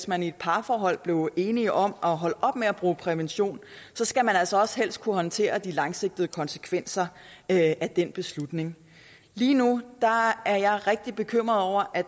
man i et parforhold blev enige om at holde op med at bruge prævention så skal man altså også helst kunne håndtere de langsigtede konsekvenser af den beslutning lige nu er jeg rigtig bekymret over at